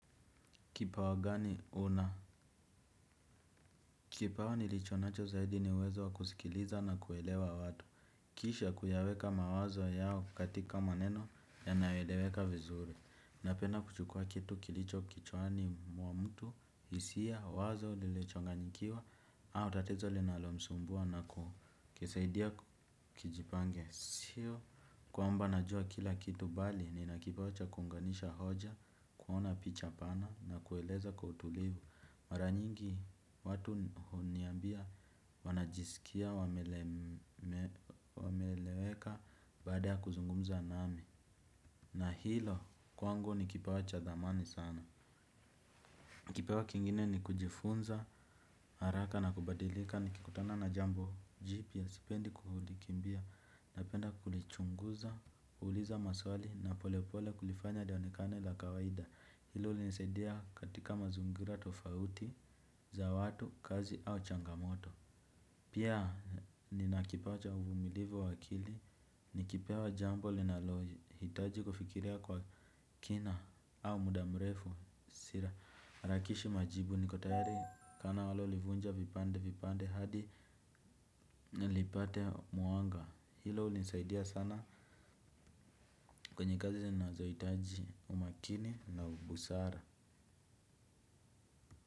Kipawa gani una? Kipawa nilichonacho zaidi ni uwezo wa kusikiliza na kuelewa watu. Kisha kuyaweka mawazo yao katika maneno yanayoeleweka vizuri. Napenda kuchukua kitu kilicho kichwani wa mtu, hisia, wazo, lilochanganyikiwa au tatizo linalomsumbua na kisaidia kijipange. Sio kwamba najua kila kitu bali nina kipawa cha kuunganisha hoja, kuona picha pana na kueleza kwa utulivu. Mara nyingi watu huniambia wanajisikia, wameeleweka baada ya kuzungumza nami. Na hilo kwangu ni kipawa cha dhamani sana. Kipawa kingine ni kujifunza, haraka na kubadilika nikikutana na jambo jipya sipendi kulikimbia. Napenda kulichunguza, kuliza maswali na pole pole kulifanya dewanekane la kawaida. Hilo ulinsaidia katika mazungira tofauti za watu, kazi au changamoto. Pia nina kipawa cha uvumilivu wa akili. Nikipewa jambo linalo hitaji kufikiria kwa kina au muda mrefu harakishi majibu niko tayari. Kana walolivunja vipande vipande hadi nilipate muanga. Hilo ulinsaidia sana kwenye kazi zainazo hitaji umakini na ubusara.